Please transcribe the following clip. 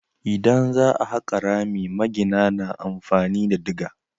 Idan za a haƙa rami magina na amfani da diga.